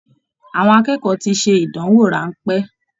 Àwọn akẹ́kọ̀ọ́ tí ṣe ìdánwò ránpẹ́.